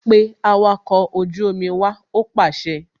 Pe awakọ̀ ojú omi wá! Ó pàṣẹ